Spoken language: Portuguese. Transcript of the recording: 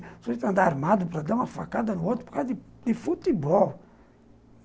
Você tem que andar armado para dar uma facada no outro por causa de futebol.